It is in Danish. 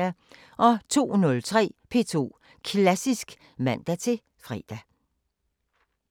02:03: P2 Klassisk (man-fre)